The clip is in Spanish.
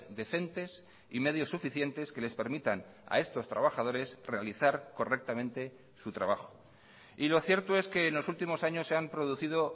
decentes y medios suficientes que les permitan a estos trabajadores realizar correctamente su trabajo y lo cierto es que en los últimos años se han producido